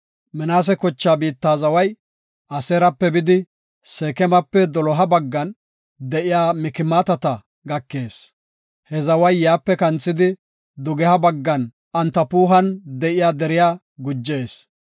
Minaase kochaa biitta zaway Aseerape bidi, Seekemape doloha baggan de7iya Mikmaatata gakees. He zaway yaape kanthidi, dugeha baggan Antapuhan de7iya deriya gujees.